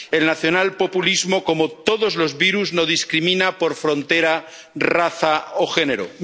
El nacionalpopulismo, como todos los virus, no discrimina por frontera, raza o género.